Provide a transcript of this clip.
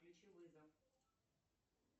включи вызов